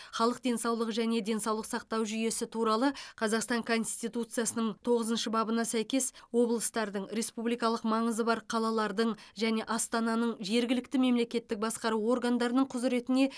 халық денсаулығы және денсаулық сақтау жүйесі туралы қазақстан конституциясының тоғызыншы бабына сәйкес облыстардың республикалық маңызы бар қалалардың және астананың жергілікті мемлекеттік басқару органдарының құзыретіне